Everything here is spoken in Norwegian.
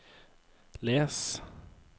les